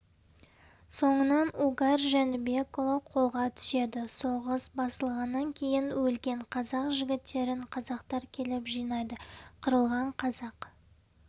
соңынан угар жәнібекұлы қолға түседі соғыс басылғаннан кейін өлген қазақ жігіттерін қазақтар келіп жинайды қырылған қазақ